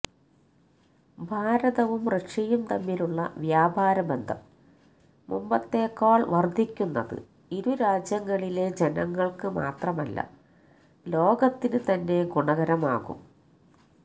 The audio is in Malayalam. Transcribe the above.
ഭാരതവും റഷ്യയും തമ്മിലുള്ള വ്യാപാര ബന്ധം മുമ്പേത്തെക്കാള് വര്ദ്ധിക്കുന്നത് ഇരുരാജ്യങ്ങളിലെ ജനങ്ങള്ക്ക് മാത്രമല്ല ലോകത്തിന് തന്നെ ഗുണകരമാകും